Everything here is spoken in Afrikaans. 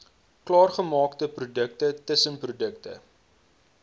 klaargemaakte produkte tussenprodukte